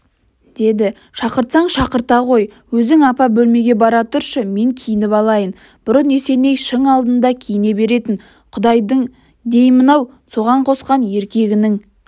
деді шақыртсаң шақырта ғой өзің апа бөлмеге бара тұршы мен киініп алайын бұрын есеней шың алдында киіне беретін құдайдың деймін-ау саған қосқан еркегінің